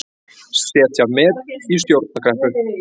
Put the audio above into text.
Setja met í stjórnarkreppu